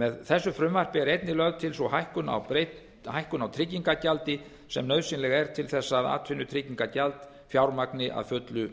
með þessu frumvarpi er einnig lögð til sú breyting á tryggingargjaldi sem nauðsynleg er til þess að atvinnutryggingagjald fjármagni að fullu